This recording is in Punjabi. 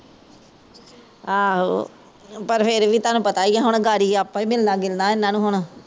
ਆਹੋ ਪਰ ਫੇਰ ਵੀ ਤਾਨੂਪਤਾ ਹੀਂ ਐ ਹੁਣ ਗਾੜੀ ਆਪਾਂ ਈ ਮਿਲਣਾ ਗਿਲਣਾ ਏਹਨਾ ਨੂ ਹੁਣ